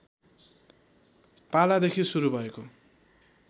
पालादेखि सुरु भएको